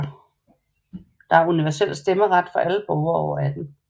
Der er universel stemmeret for alle borgere over 18 år